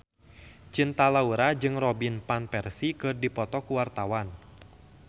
Cinta Laura jeung Robin Van Persie keur dipoto ku wartawan